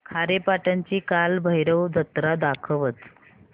खारेपाटण ची कालभैरव जत्रा दाखवच